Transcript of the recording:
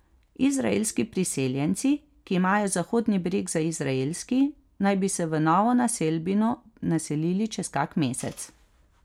Izraelski priseljenci, ki imajo Zahodni breg za izraelski, naj bi se v novo naselbino naselili čez kak mesec.